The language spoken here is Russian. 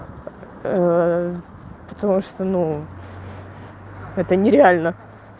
потому что ну это нереально